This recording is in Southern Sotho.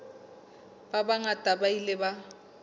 ba bangata ba ile ba